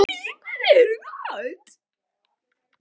Og ekki mikið fleiri í hinum löndunum.